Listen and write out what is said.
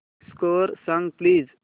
score सांग please